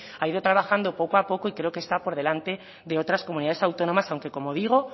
ha ido trabajando poco a poco y creo que está por delante de otras comunidades autónomas que aunque como digo